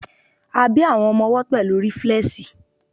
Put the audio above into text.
a bi àwọn ọmọ owó pẹlu riflesi